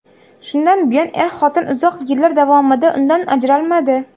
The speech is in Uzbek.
Shundan buyon er-xotin uzoq yillar davomida undan ajralmadi.